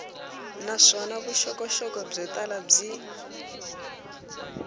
naswona vuxokoxoko byo tala byi